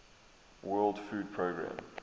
world food programme